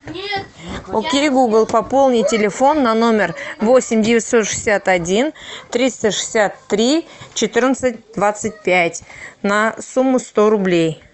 окей гугл пополни телефон на номер восемь девятьсот шестьдесят один триста шестьдесят три четырнадцать двадцать пять на сумму сто рублей